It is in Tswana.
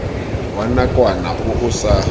wa nakwana o o sa